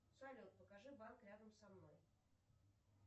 салют покажи банк рядом со мной